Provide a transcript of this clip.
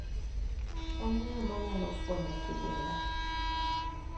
En ng'a manyalo fwenyo kidinga.